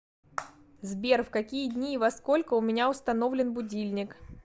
сбер в какие дни и во сколько у меня установлен будильник